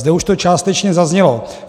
Zde už to částečně zaznělo.